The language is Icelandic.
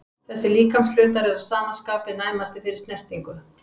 Þessir líkamshlutar eru að sama skapi næmastir fyrir snertingu.